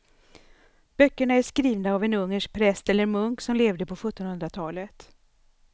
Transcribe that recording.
Böckerna är skrivna av en ungersk präst eller munk som levde på sjuttonhundratalet.